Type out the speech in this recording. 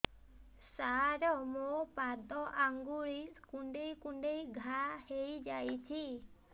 ସାର ମୋ ପାଦ ଆଙ୍ଗୁଳି କୁଣ୍ଡେଇ କୁଣ୍ଡେଇ ଘା ହେଇଯାଇଛି